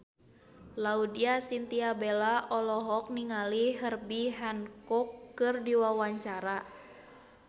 Laudya Chintya Bella olohok ningali Herbie Hancock keur diwawancara